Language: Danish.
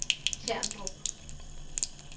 Terndrup